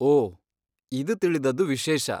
ಓಹ್! ಇದ್ ತಿಳಿದದ್ದು ವಿಶೇಷ.